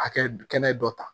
Hakɛ kɛnɛ dɔ ta